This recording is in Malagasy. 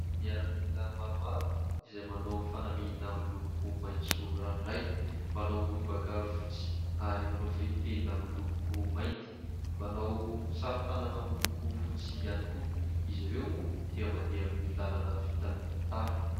Miaramila maromaro izay manao fanamiana amin'ny loko maitso ranoray, manao lobaka fotsy ary manao fehitenda amin'ny loko mainty, manao saron-tanana amin'ny loko fotsy ihany koa ; izy ireo moa dia mandeha amin'ny lalana vita amin'ny tara.